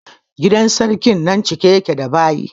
Gidan sarkin nan cike ya ke da baƴi